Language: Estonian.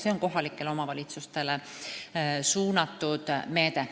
See on kohalikele omavalitsustele suunatud meede.